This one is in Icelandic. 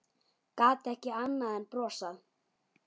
Gat ekki annað en brosað.